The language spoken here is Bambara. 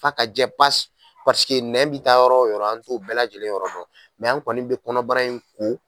F'a ka jɛ pasi paseke nɛn bi taa yɔrɔ o yɔrɔ an t'o bɛɛ lajɛlen yɔrɔ dɔn mɛ an kɔni be kɔnɔbara in ko